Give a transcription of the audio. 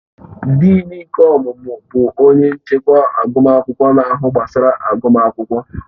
Dịịn nke ọmụmụ bụ onye nchịkwa agụmakwụkwọ na-ahụ gbasara agụmakwụkwọ